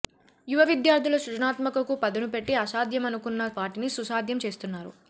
యువ విద్యార్థులు సృజనాత్మకకు పదును పెట్టి అసాధ్యమనుకున్న వాటిని సుసాధ్యం చేస్తున్నారు